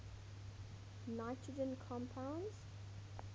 nitrogen compounds